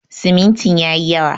Simintin ya yi yawa.